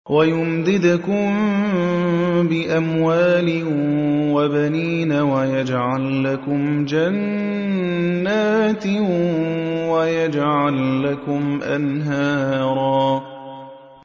وَيُمْدِدْكُم بِأَمْوَالٍ وَبَنِينَ وَيَجْعَل لَّكُمْ جَنَّاتٍ وَيَجْعَل لَّكُمْ أَنْهَارًا